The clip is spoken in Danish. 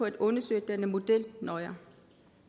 at undersøge denne model nøjere